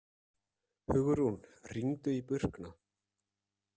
Hugrún, hringdu í Burkna.